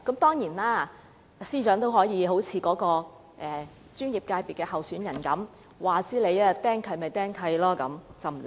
當然，司長也可以像該候選人般不理會清拆令，被"釘契"也不怕。